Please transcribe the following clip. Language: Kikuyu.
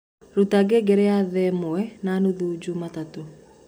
rũta ngengere ya ĩmwe na nũthũ jumatatũ